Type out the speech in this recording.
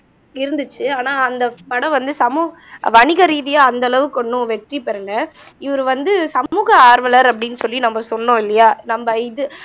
இருந்துச்சு ஆனா அந்த படம் வந்து சமூக வணிக ரீதியா அந்த அளவுக்கு ஒண்ணும் வெற்றி பெறல இவரு வந்து சமூக ஆர்வலர் அப்படின்னு சொல்லி நம்ம சொன்னோம் இல்லையா நம்ம இது